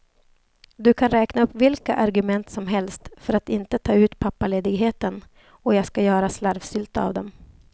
Du kan räkna upp vilka argument som helst för att inte ta ut pappaledigheten, och jag ska göra slarvsylta av dem.